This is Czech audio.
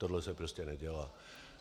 Tohle se prostě nedělá.